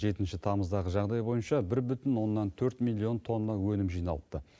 жетінші тамыздағы жағдай бойынша бір бүтін оннан төрт миллион тонна өнім жиналыпты